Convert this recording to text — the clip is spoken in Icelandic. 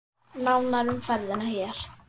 Nánar um ferðina hér.